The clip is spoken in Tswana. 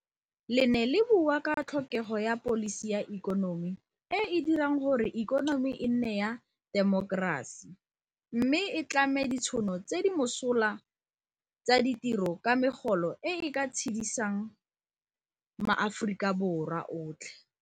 Le ne le bua ka tlhokego ya pholisi ya ikonomi e e dirang gore ikonomi e nne ya temokerasi mme e tlhame ditšhono tse di mosola tsa ditiro ka megolo e e ka tshedisang maAforika Borwa otlhe.